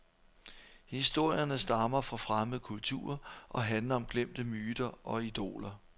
Historierne stammer fra fremmede kulturer og handler om glemte myter og idoler.